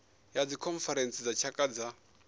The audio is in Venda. ya dzikhonferentsi dza tshaka dza